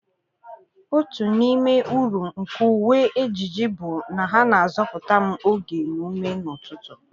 Otu n'ime uru nke uwe ejiji bụ na ha na-azọpụta m oge na ume n'ụtụtụ.